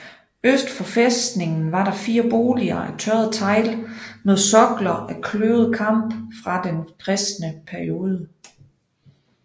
Øst for fæstningen var der fire boliger af tørret tegl med sokler af kløvet kamp fra den kristne periode